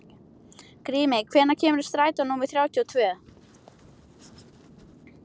Grímey, hvenær kemur strætó númer þrjátíu og tvö?